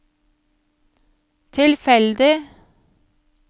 tilfeldig